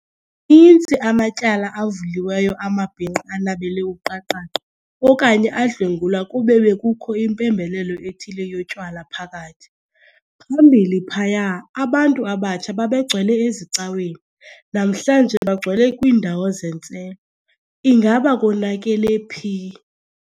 intsi amatyala avuliweyo amabinqa anabele uqaqaqa okanye adlwengulwa kube bekukho impembelelo ethile yotywala phakathi. Phambili phaya abantu abatsha babegcwele ezicaweni, namhlanje bagcwele kwiindawo zentselo, ingaba konakele phi?.